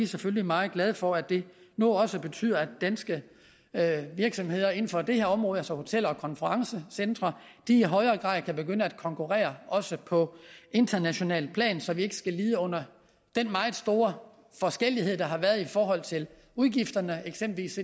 selvfølgelig meget glade for at det nu også betyder at danske virksomheder inden for det her område altså hoteller og konferencecentre i højere grad kan begynde at konkurrere også på internationalt plan så vi ikke skal lide under den meget store forskellighed der har været i forhold til udgifterne eksempelvis